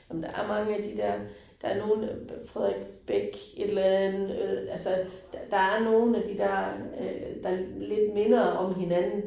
Ej men der er mange af de der, der nogle Frederik Bech et eller andet øh altså. Der er nogle af de der, øh der lidt minder om hinanden